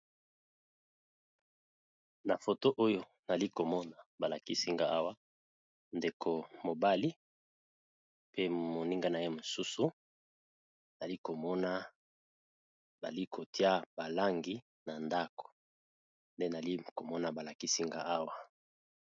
Na foto oyo nali komona balakisinga awa ndeko mobali pe moninga na ye mosusu nali komona balikotia balangi na ndako nde nali komona balakisinga awa.